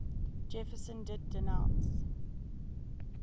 jefferson did denounce